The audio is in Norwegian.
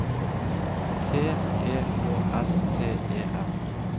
T E K S T E N